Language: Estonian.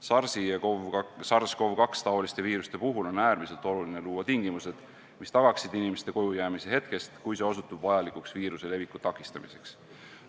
SARS-CoV-2-taoliste viiruste puhul on äärmiselt oluline luua tingimused, mis tagaksid inimeste kojujäämise hetkest, kui see osutub vajalikuks viiruse leviku takistamiseks.